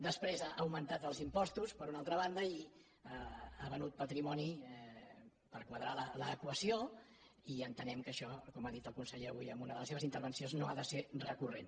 després ha augmentat els impostos per una altra banda i ha venut patrimoni per quadrar l’equació i entenem que això com ha dit el conseller avui en una de les seves intervencions no ha de ser recurrent